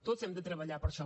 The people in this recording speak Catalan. tots hem de treballar per això